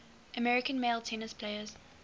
american male tennis players